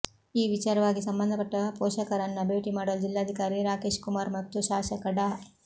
ಈ ವಿಚಾರವಾಗಿ ಸಂಬಂಧಪಟ್ಟ ಪೋಷಕರನ್ನ ಭೇಟಿ ಮಾಡಲು ಜಿಲ್ಲಾಧಿಕಾರಿ ರಾಕೇಶ್ಕುಮಾರ್ ಮತ್ತು ಶಾಸಕ ಡಾ